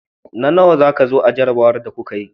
Na nawa ka zo a jarrabawar da kuka yi?